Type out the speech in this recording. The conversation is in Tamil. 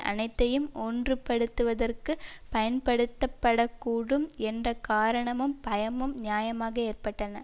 அனைத்தையும் ஒன்றுபடுத்துவதற்கு பயன்படுத்தப்படக்கூடும் என்ற காரணமும் பயமும் நியாயமாக ஏற்பட்டன